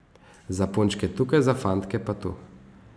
Za punčke tukaj, za fantke pa tu.